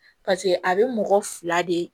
pase a be mɔgɔ fila de